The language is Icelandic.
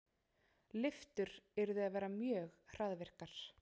Lyftur yrðu að vera mjög hraðvirkar.